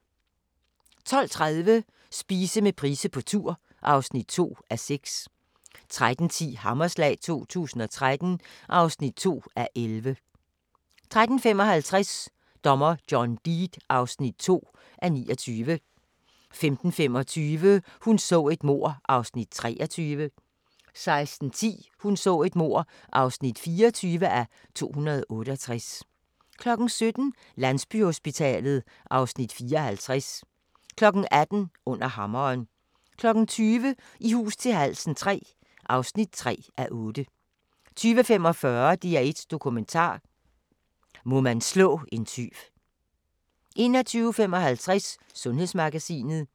12:30: Spise med Price på tur (2:6) 13:10: Hammerslag 2013 (2:11) 13:55: Dommer John Deed (2:29) 15:25: Hun så et mord (23:268) 16:10: Hun så et mord (24:268) 17:00: Landsbyhospitalet (Afs. 54) 18:00: Under Hammeren 20:00: I hus til halsen III (3:8) 20:45: DR1 Dokumentar: Må man slå en tyv 21:55: Sundhedsmagasinet